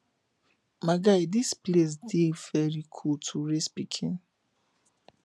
my guy dis place dey very cool to raise pikin